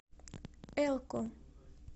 элко